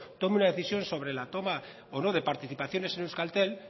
tome una decisión sobre la toma o no de participaciones de euskaltel